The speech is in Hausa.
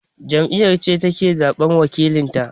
Jam'iyya ce take zaɓan wakilanta